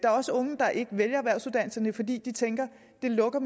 også unge der ikke vælger erhvervsuddannelserne fordi de tænker at det lukker